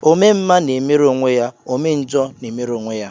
Ome mma na-emere onwe ya, ome njọ na-emere onwe ya